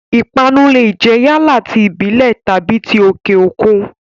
Ìpanu lè jẹ́ yálà ti ìbílẹ̀ tàbí ti òkè òkun.